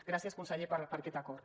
gràcies conseller per aquest acord